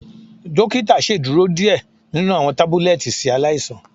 Dokita ṣeduro diẹ ninu awọn tabulẹti si alaisan.